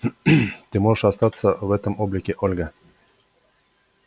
ты можешь остаться в этом облике ольга